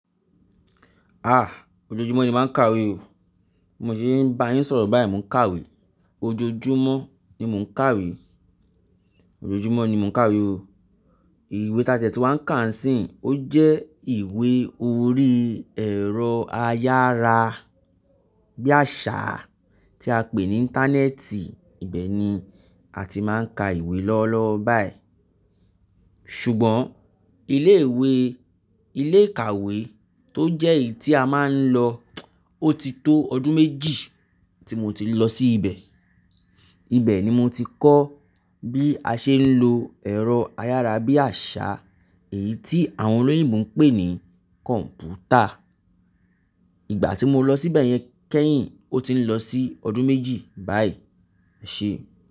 Ah! Ojoojúmọ́ ni máa ń kàwé o. Bi mo ṣé bá yín sọ̀rọ̀ báyìí mo ń kàwé. Ojoojúmọ́ ni mò ń kàwé. Ojoojúmọ́ ni mò ń kàwé o. Ìwé ta dẹ̀ tun wàá ń kà ń sìn, ó jẹ́ ìwé orí ẹ̀rọ ayára-bíàṣá tí a pè ní Íńtánẹ́ẹ̀tì, ibẹ̀ ni a ti máa ń ka ìwé lọ́wolọ́wo báyìí. Ṣùgbọ́n ilé ìwé ilé ìkàwé tó jẹ́ èyí tí a máa ń lọ, ó ti tó ọdún méjì tí mo ti lọ sí ibẹ̀. Ibẹ̀ ni mo ti kọ́ bí a ṣe ń lo ẹ̀rọ ayára-bíàṣá èyí tí àwọn olóyìnbo ń pè ní kọ̀ǹpútà. Ìgbà tí mo lọ síbẹ̀ yẹn kẹ́yìn, ó ti ń lọ sí ọdún méjì báyìí, eṣé.